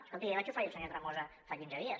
escolti jo l’hi vaig oferir al senyor tremosa fa quinze dies